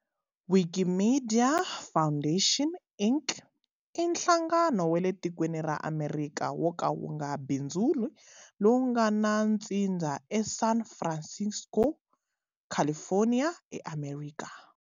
Wikimedia Foundation, Inc. i nhlangano wale tikweni ra Amerika woka wunga bindzuli lowungana ntsindza e San Francisco, California, eAmerika.